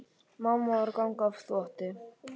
Mamma var að ganga frá þvotti.